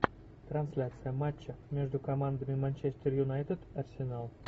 трансляция матча между командами манчестер юнайтед арсенал